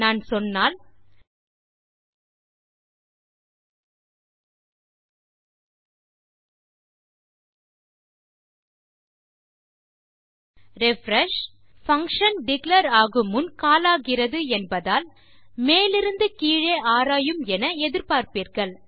நான் சொன்னால் refresh function declare ஆகுமுன் கால் ஆகிறது என்பதால் மேலிருந்து கீழே ஆராயும் என எதிர்பார்ப்பீர்கள்